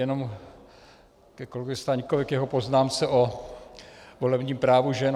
Jenom ke kolegovi Staňkovi, k jeho poznámce o volebním právu žen.